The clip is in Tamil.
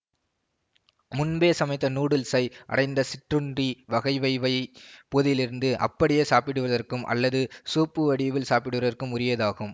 முன்பே சமைத்த நூடுல்ஸை அடைத்த சிற்றுண்டி வகை வைவை பொதிலிருந்து அப்படியே சாப்பிடுவதற்கும் அல்லது சூப் வடிவில் சாப்பிடுவதற்கும் உரியதாகும்